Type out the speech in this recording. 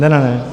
Ne, ne, ne.